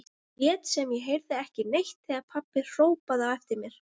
Lét sem ég heyrði ekki neitt þegar pabbi hrópaði á eftir mér.